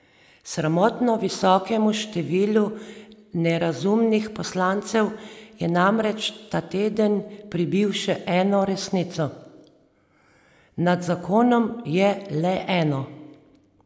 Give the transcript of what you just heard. Sramotno visokemu številu nerazumnih poslancev je namreč ta teden pribil še eno resnico: "Nad zakonom je le eno.